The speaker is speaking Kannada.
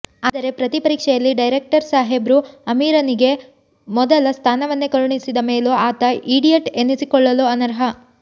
ಆದರೆ ಪ್ರತಿ ಪರೀಕ್ಷೆಯಲ್ಲಿ ಡೈರೆಕ್ಟರ್ ಸಾಹೇಬ್ರು ಅಮೀರನಿಗೆ ಮೊದಲ ಸ್ಥಾನವನ್ನೇ ಕರುಣಿಸಿದ ಮೇಲೂ ಆತ ಈಡಿಯಟ್ ಎನ್ನಿಸಿಕೊಳ್ಳಲು ಅನರ್ಹ